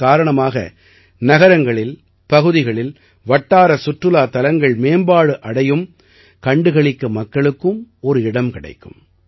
இதன் காரணமாக நகரங்களில் பகுதிகளில் வட்டார சுற்றுலாத் தலங்கள் மேம்பாடு அடையும் கண்டு களிக்க மக்களுக்கும் ஒரு இடம் கிடைக்கும்